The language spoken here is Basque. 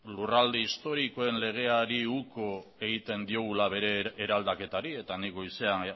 lurralde historikoen legeari uko egiten diogula bere eraldaketari eta nik goizean